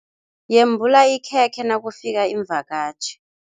Yembula ikhekhe nakufika iimvakatjhi.